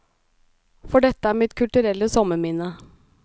For dette er mitt kulturelle sommerminne.